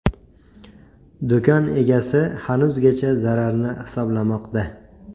Do‘kon egasi hanuzgacha zararni hisoblamoqda.